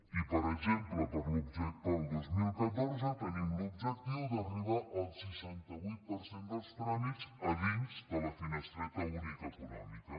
i per exemple per al dos mil catorze tenim l’objectiu d’arribar al seixanta vuit per cent dels tràmits a dins de la finestreta única econòmica